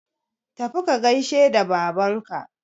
tafi ka gaishe da Babanka